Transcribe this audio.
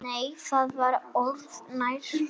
Nei, það var öðru nær!